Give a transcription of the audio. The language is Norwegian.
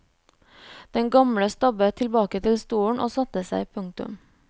Den gamle stabbet tilbake til stolen og satte seg. punktum